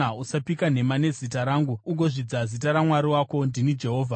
“ ‘Usapika nhema nezita rangu ugozvidza zita raMwari wako. Ndini Jehovha.